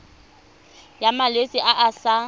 ya malwetse a a sa